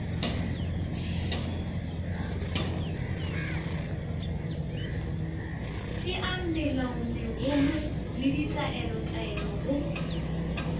tšeang melaomegolo le ditaelotaelo go